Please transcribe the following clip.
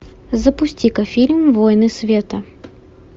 запусти ка фильм воины света